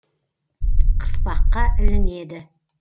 қыспаққа ілінеді